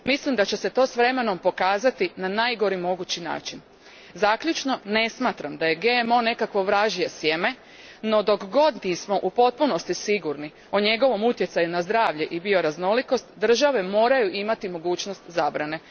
Mislim da će se to s vremenom pokazati na najgori mogući način. Zaključno, ne smatram da je GMO nekakvo vražje sjeme no dok god nismo u potpunosti sigurni o njegovom utjecaju na zdravlje i bioraznolikost, države moraju imati mogućnost zabrane.